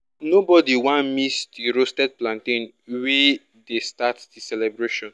nobody wan miss the roasted plantain wey dey start the celebration.